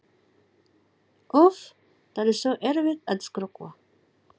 Úff, það er svo erfitt að skrökva.